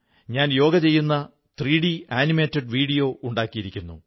ഞാൻ യോഗ ചെയ്യുന്ന 3ഡി ആനിമേറ്റഡ് വീഡിയോ ഉണ്ടാക്കിയിരിക്കുന്നു